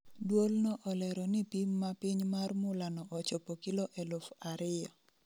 Duol no olero ni pim ma piny mar mula no ochopo kilo eluf ariyo